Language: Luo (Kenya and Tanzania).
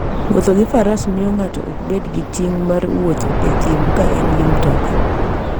Wuoth gi faras miyo ng'ato ok bed gi ting' mar wuotho e thim ka en gi mtoka.